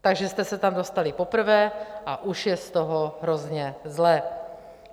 Takže jste se tam dostali poprvé a už je z toho hrozně zle.